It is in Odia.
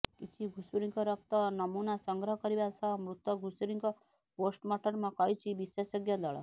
କିଛି ଘୁଷୁରିଙ୍କ ରକ୍ତ ନମୂନା ସଂଗ୍ରହ କରିବା ସହ ମୃତ ଘୁଷୁରିଙ୍କ ପୋଷ୍ଟମର୍ଟମ କରିଛନ୍ତି ବିଶେଷଜ୍ଞ ଦଳ